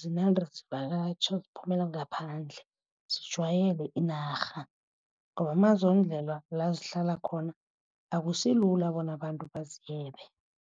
zinande zivakatjha ziphumela ngaphandle, zijwayele inarha ngoba mazondlelwa la zihlala khona akusilula bona abantu bazebe.